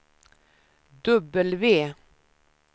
W